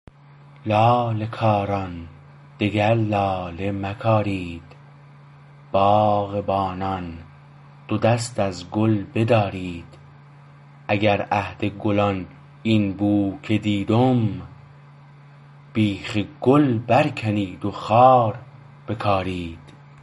لاله کاران دگر لاله مکارید باغبانان دو دست از گل بدارید اگر عهد گلان این بو که دیدم بیخ گل بر کنید و خار بکارید